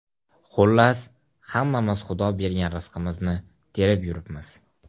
Xullas, hammamiz Xudo bergan rizqimizni terib yuribmiz.